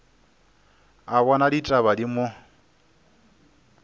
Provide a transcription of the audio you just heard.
a bona ditaba di mo